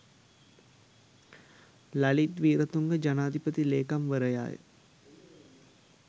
ලලිත් වීරතුංග ජනාධිපති ලේකම්වරයාය.